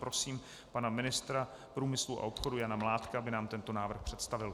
Prosím pana ministra průmyslu a obchodu Jana Mládka, aby nám tento návrh představil.